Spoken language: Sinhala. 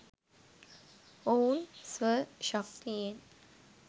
ඔවුන් ස්ව ශක්තියෙන්